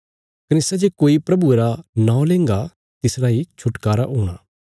कने सै जे कोई प्रभुये रा नौं लेंगा तिसरा इ छुटकारा हूणा